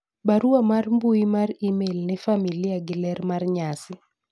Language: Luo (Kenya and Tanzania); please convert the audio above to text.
barua mar mbui mar email ne familia gi ler mar nyasi